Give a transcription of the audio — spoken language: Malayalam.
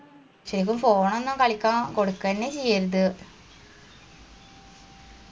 ശരി phone ഒന്നും കളിക്കാൻ കൊടുക്കെന്നെ ചെയ്യർത്